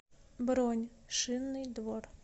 бронь шинный двор